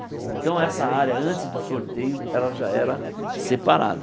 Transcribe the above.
Então, essa área antes do sorteio, ela já era separada.